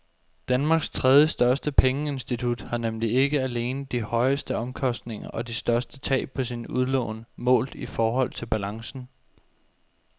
Danmarks tredjestørste pengeinstitut har nemlig ikke alene de højeste omkostninger og de største tab på sine udlån målt i forhold til balancen.